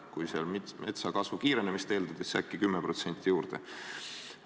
Kui metsa kasvu kiirenemist eeldada, siis äkki tuleb 10% juurde.